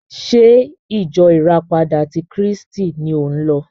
Ṣé ìjọ ìràpadà ti Kírísítì ni ò ń lọ?